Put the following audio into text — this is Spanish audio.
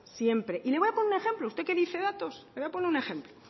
siempre y le voy a poner un ejemplo usted que dice datos le voy a poner un ejemplo